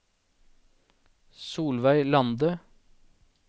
Solveig Lande